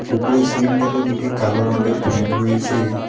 উপরে সিলিংটাতে দুটি কালো রঙের ফ্যান রয়েছে।